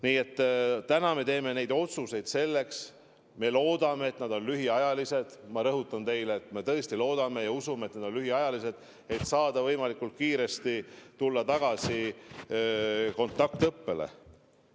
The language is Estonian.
Nii et täna me teeme neid otsuseid selleks – loodame, et nad on lühiajalised, ma rõhutan teile, et me tõesti loodame ja usume, et need on lühiajalised –, et saada võimalikult kiiresti tulla tagasi kontaktõppele.